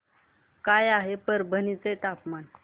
काय आहे परभणी चे तापमान